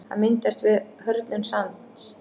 Hann myndast við hörðnun sands.